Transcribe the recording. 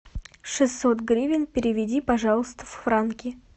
шестьсот гривен переведи пожалуйста в франки